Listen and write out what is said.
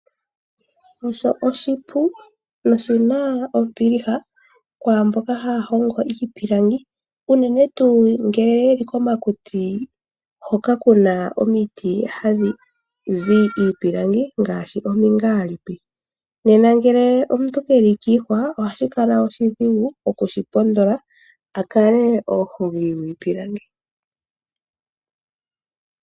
Osho oshipu noshina ombiliha kwaamboka haya hongo iipilangi, unene tuu ngele ye li komakuti hoka kuna omiti hadhi zi iipilangi ngaashi omingaalipi. Nena ngele omuntu ke li kiihwa ohashi kala oshidhigu oku shi pondola a kale omuhongi gwiipilangi.